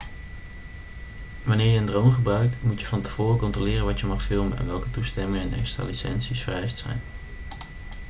wanneer je een drone gebruikt moet je van tevoren controleren wat je mag filmen en welke toestemmingen en extra licenties vereist zijn